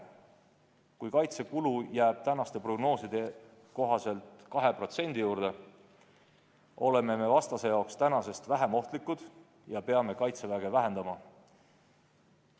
Kui kaitsekulu jääb praeguste prognooside kohaselt 2% juurde, oleme vastase jaoks tänasest vähem ohtlikud ja peame Kaitseväge vähendama.